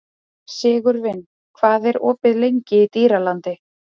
Sigurvin, hvað er opið lengi í Dýralandi?